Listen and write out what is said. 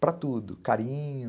Para tudo, carinho...